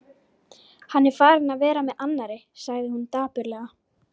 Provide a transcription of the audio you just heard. Hann er farinn að vera með annarri, sagði hún dapurlega.